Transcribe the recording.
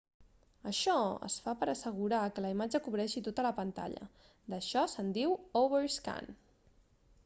això es fa per a assegurar que la imatge cobreixi tota la pantalla d'això se'n diu overscan